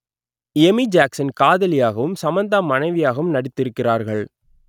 Amy Jackson காதலியாகவும் சமந்தா மனைவியாகவும் நடித்திருக்கிறார்கள்